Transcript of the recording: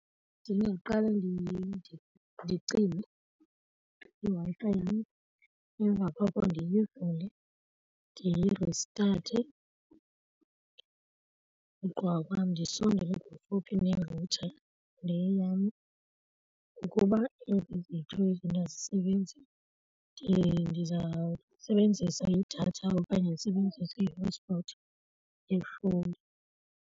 Ndingaqala ndicime iWi-Fi yam, emva koko ndiyivule ndiyiristathe, ugqiba kwam ndisondele kufuphi ne-router le yam. Ukuba ezi ziyi-two izinto azisebenzi ndizawusebenzisa idatha okanye ndisebenzise i-hotspot yefowuni.